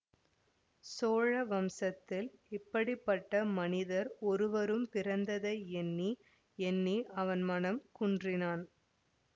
சோழ வம்சத்தில் இப்படி பட்ட மனிதர் ஒருவரும் பிறந்ததை எண்ணி எண்ணி அவன் மனம் குன்றினான்